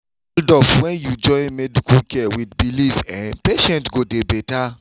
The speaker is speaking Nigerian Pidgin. hold up when you join medical care with belief[um]patient go dey better